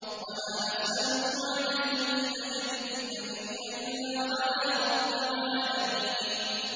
وَمَا أَسْأَلُكُمْ عَلَيْهِ مِنْ أَجْرٍ ۖ إِنْ أَجْرِيَ إِلَّا عَلَىٰ رَبِّ الْعَالَمِينَ